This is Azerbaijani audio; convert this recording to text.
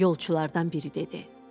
Yolçulardan biri dedi: